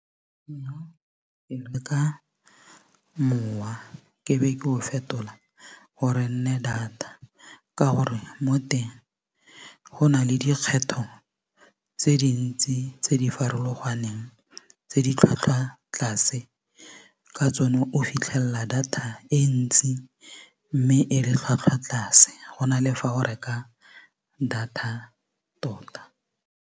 Mowa ke be ke o fetola gore e nne data ka gore mo teng go na le dikgetho tse dintsi tse di farologaneng tse di tlhwatlhwatlase ka tsone o fitlhelela data e ntsi mme e le tlhwatlhwa tlase go na le fa o reka data tota.